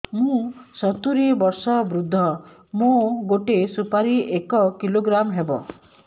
ମୁଁ ସତୂରୀ ବର୍ଷ ବୃଦ୍ଧ ମୋ ଗୋଟେ ସୁପାରି ଏକ କିଲୋଗ୍ରାମ ହେବ